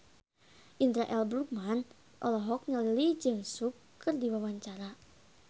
Indra L. Bruggman olohok ningali Lee Jeong Suk keur diwawancara